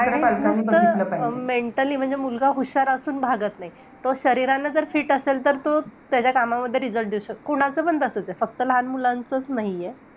आणि नुसतं अं mentally, म्हणजे मुलगा हुशार असून भागत नाही. तो शरीराने जर fit असेल, तर तो त्याच्या कामामध्ये result देऊ शकतो. कोणाचंपण तसंच आहे. फक्त लहान मुलांचचं नाहीये.